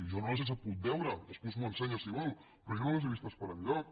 jo no les he sabut veure després m’ho ensenya si vol però jo no les he vistes per enlloc